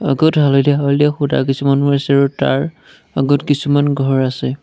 আগত হালধীয়া হালধীয়া খুঁটা কিছুমান আছে আৰু তাৰ আগত কিছুমান ঘৰ আছে।